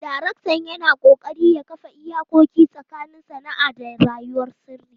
Daraktan yana ƙoƙari ya kafa iyakoki tsakanin sana'a da rayuwar sirri.